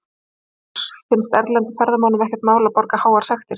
Magnús: Finnst erlendum ferðamönnum ekkert mál að borga háar sektir?